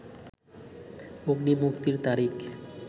'অগ্নি' মুক্তির তারিখ